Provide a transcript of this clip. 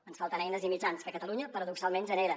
ens falten eines i mitjans que catalunya paradoxalment genera